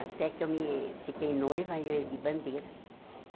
Até que eu me fiquei noiva e eu ergui bandeira.